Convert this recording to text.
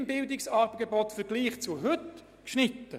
Das Bildungsangebot wird im Vergleich zu heute nicht beschnitten.